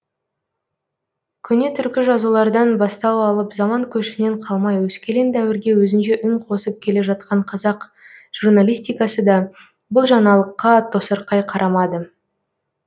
көне түркі жазулардан бастау алып заман көшінен қалмай өскелең дәуірге өзінше үн қосып келе жатқан қазақ журналистикасы да бұл жаңалыққа тосырқай қарамады